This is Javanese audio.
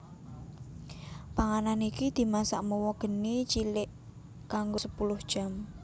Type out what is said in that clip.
Panganan iki dimasak mawa geni cilik kanggo sepuluh jam